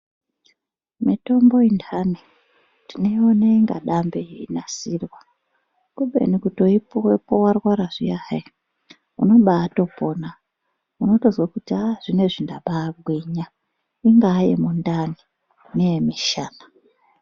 Mitombo indani tionoiona inga dambe yeinasirwa kubeni kutoipuwepo warwara zviya hayi, unobaatopona unotozwe kuti hah zvinezvi ndabaagwinya, ingaa yemundani neyemishana.